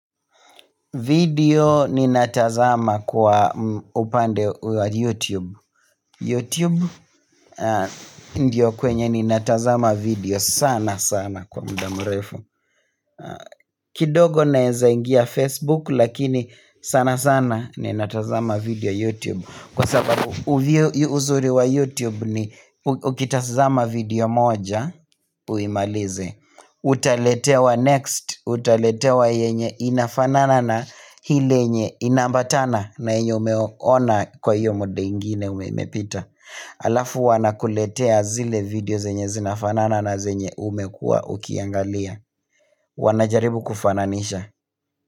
Video ni natazama kwa upande wa YouTube YouTube ndio kwenye ni natazama video sana sana kwa muda mrefu kidogo naeza ingia Facebook lakini sana sana ni natazama video YouTube Kwa sababu uzuri wa YouTube ni ukitazama video moja uimalize Uta letewa next, uta letewa yenye inafanana na ile yenye inambatana na yenye umeona kwa hiyo muda ingine umepita Alafu wana kuletea zile video zenye zinafanana na zenye umekua ukiangalia Wanajaribu kufananisha.